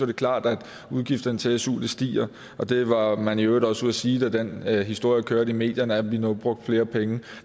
det klart at udgifterne til su stiger det var man i øvrigt også ude at sige da den historie kørte i medierne altså at vi nu brugte flere penge